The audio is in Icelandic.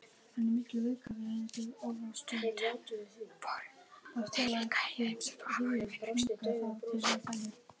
Stundum fóru þeir líka og heimsóttu afa í vinnuna.